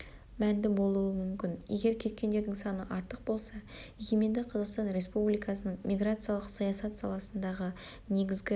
мәнді болуы мүмкін егер кеткендердің саны артық болса егеменді қазақстан республикасының миграциялық саясат саласындағы негізгі